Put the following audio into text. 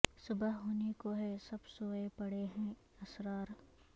صبح ہونے کو ہے سب سوئے پڑے ہیں اسرار